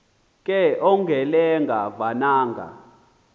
ke ongelenga vananga